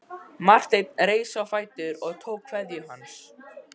Marteinn reis á fætur og tók kveðju hans.